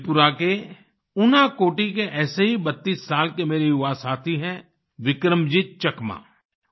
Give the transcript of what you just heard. त्रिपुरा के उनाकोटी उनाकोटी के ऐसे ही 32 साल के मेरे युवा साथी हैं बिक्रमजीत चकमा